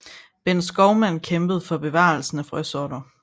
Bent Skovmand kæmpede for bevarelse af frøsorter